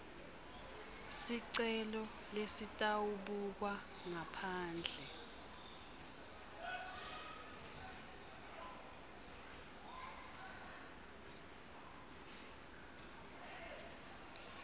sicelo lesitawubukwa ngaphandle